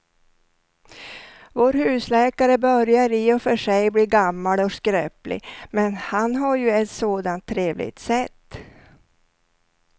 Vår husläkare börjar i och för sig bli gammal och skröplig, men han har ju ett sådant trevligt sätt!